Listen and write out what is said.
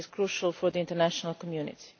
It is crucial for the international community.